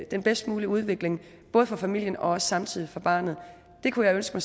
den bedst mulige udvikling både for familien og samtidig for barnet det kunne jeg ønske